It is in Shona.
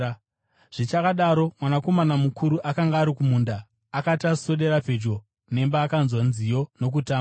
“Zvichakadaro, mwanakomana mukuru akanga ari kumunda akati aswedera pedyo nemba, akanzwa nziyo nokutamba.